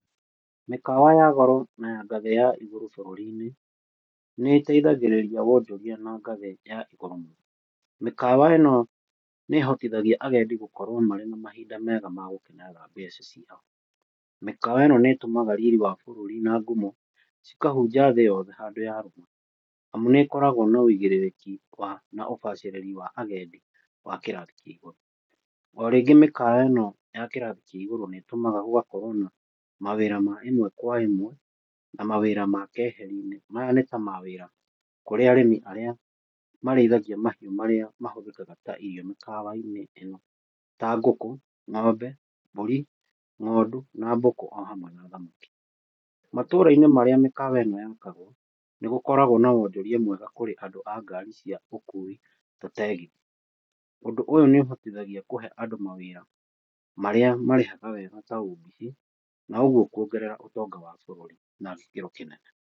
Mĩkawa ya goro na ya ngathĩ ya igũrũ bũrũri-inĩ, nĩ ĩteithagĩrĩragia wonjoria na ngathĩ ya igũrũ mũno. Mĩkawa ĩno nĩ ĩhotithagia agendi gũkorwo marĩ na mahinda mega magũkenerera mbeca ciao. Mĩkawa ĩno nĩ ĩtũmaga riri wa bũrũri na ngumo cikahunja thĩ yothe handũ ya rũma amu nĩ ĩkoragwo na wĩigĩrĩrĩki wa na ũbacĩrĩri wa agendi wa kĩrathi kĩa igũrũ mũno. Orĩngĩ mĩkawa ĩno ya kĩrahi kĩa igũrũ nĩ ĩtũmaga gũgakorwo na mawĩra ma ĩmwe kwa ĩmwe na mawĩra ma keheri-inĩ, maya nĩ ta mawĩra kũrĩ arĩmi arĩa marĩithagia mahiũ marĩa mahũthĩkaga ta irio mĩkawa-inĩ ĩno ta ngũkũ, ng'ombe, mbũri, ng'ondu na mbũkũ o hamwe na thamaki. Matũra-inĩ marĩa mĩkawa ĩno yakagwa nĩgũkoragwo na wonjoria mwega kũrĩ andũ a ngari cia ũkui ta tegithi. Ũndũ ũyu nĩ ũhotithagia kũhe andũ mawĩra marĩa marĩhaga wega ta ũmbici na ũguo kwongerera ũtonga wa bũrũrina gĩkĩro kĩnene.